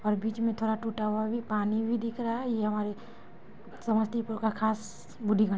और बीच मे थोड़ा टूटा हुआ भी पानी भी दिख रहा है ये हमारे समस्तीपुर का खास बूडिगन--